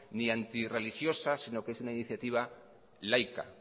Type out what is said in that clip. ni antirreligiosa sino que es una iniciativa laica